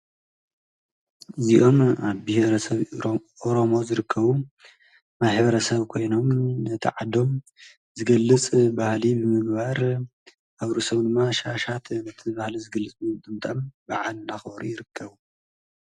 እዚኦም ኣብ ብሔ ርሰብ ሮሞ ዝርከቡ ማሕበረ ሰብ ኮይኖም ነተዓዶም ዘገልጽ ባሃሊ ብምግባር ኣብ ሪ ሰዉ ንማ ሻሻት እቲ ባህለ ዘገልጽኒንጥምጠም ብዓል ናኸሪ ይርከዉ::